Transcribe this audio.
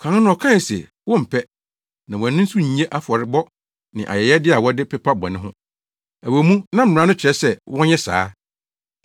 Kan no ɔkae se, “Wompɛ, na wʼani nso nnnye afɔrebɔ ne ayɛyɛde a wɔde pepa bɔne ho.” Ɛwɔ mu, na Mmara no kyerɛ sɛ wɔnyɛ saa.